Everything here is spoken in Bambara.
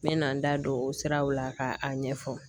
Ne na na n da don o siraw la ka a ɲɛfɔ